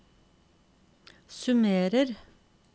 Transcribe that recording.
summerer